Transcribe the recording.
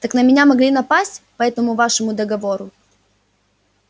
так на меня могли напасть по этому вашему договору